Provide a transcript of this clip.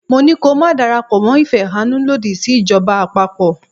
Mo ní ko máa darapọ̀ mọ́ ìfẹ̀hánnú lòdì sí ìjọba àpapọ̀.